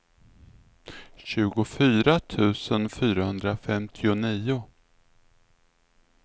tjugofyra tusen fyrahundrafemtionio